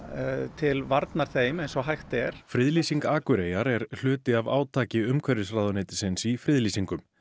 til varnar þeim eins og hægt er friðlýsing Akureyjar er hluti af átaki umhverfisráðuneytisins í friðlýsingum